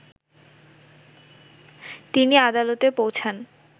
তিনি আদালতে পৌঁছান